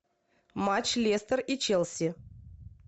матч лестер и челси